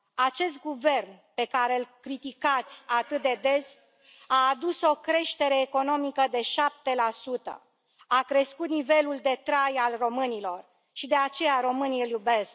Acest guvern pe care îl criticați atât de des a adus o creștere economică de 7, a crescut nivelul de trai al românilor și, de aceea, românii îl iubesc.